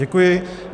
Děkuji.